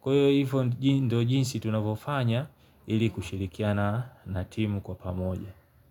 Kwa hivyo jinsi tunavofanya ili kushirikiana na timu kwa pamoja.